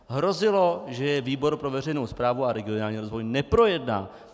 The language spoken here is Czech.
Hrozilo, že je výbor pro veřejnou správu a regionální rozvoj neprojedná.